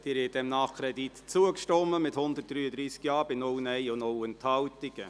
Sie haben diesem Nachkredit zugestimmt, mit 133 Ja- gegen 0 Nein-Stimmen bei 0 Enthaltungen.